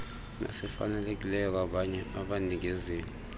esifanelekileyo kwabanye abanikezeli